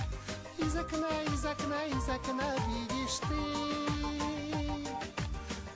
из окна из окна из окна видишь ты